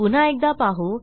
पुन्हा एकदा पाहू